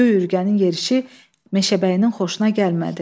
Göy ürgənin yerişi meşəbəyinin xoşuna gəlmədi.